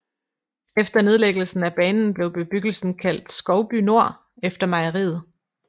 Efter nedlæggelsen af banen blev bebyggelsen kaldt Skovby Nord efter mejeriet